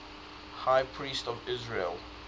high priests of israel